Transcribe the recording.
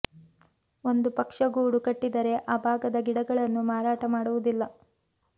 ಒಂದು ಪಕ್ಷ ಗೂಡು ಕಟ್ಟಿದ್ದರೆ ಆ ಭಾಗದ ಗಿಡಗಳನ್ನು ಮಾರಾಟ ಮಾಡುವುದಿಲ್ಲ